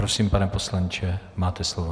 Prosím, pane poslanče, máte slovo.